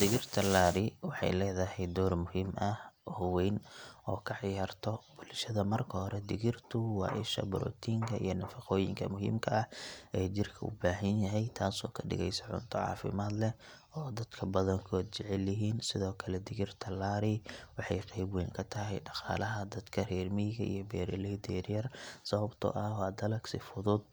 Digirta laari waxay leedahay door muhiim ah oo weyn oo ay ka ciyaarto bulshada marka hore digirtu waa isha borotiinka iyo nafaqooyinka muhiimka ah ee jirka u baahan yahay taas oo ka dhigaysa cunto caafimaad leh oo dadka badankood jecel yihiin sidoo kale digirta laari waxay qayb weyn ka tahay dhaqaalaha dadka reer miyiga iyo beeraleyda yaryar sababtoo ah waa dalag si fudud